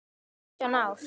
Átján ár.